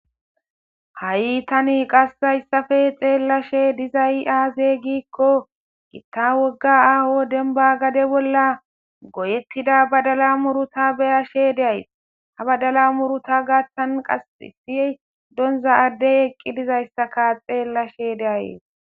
Ha,i tani qassayssafe xeellashe dizay aaze giikko gitta wogga aaho denba gade bolla goyettida badala muruta beyashe deyay ha badala muruta gaattan qas sie donza addey eqqi dizayssaka xeellashe deayee